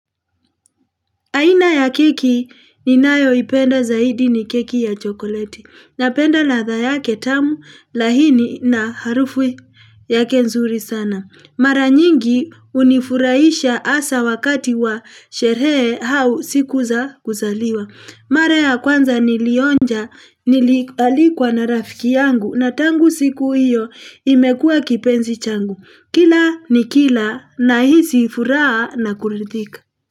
Aina ya keki ninayoipenda zaidi ni keki ya chokoleti. Napenda ladha yake tamu laini na harufu yake nzuri sana. Mara nyingi hunifuraisha hasa wakati wa sherehe au siku za kuzaliwa. Mara ya kwanza nilionja nilialikwa na rafiki yangu na tangu siku iyo imekua kipenzi changu. Kila nikila nahisi furaha na kuridhika.